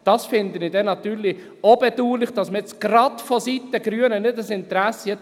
» Das finde ich natürlich dann auch bedauerlich, gerade wenn man vonseiten der Grünen kein Interesse hat.